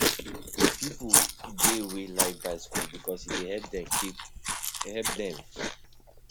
Pipo dey wey like bicycle because e dey help them keep help them keep fit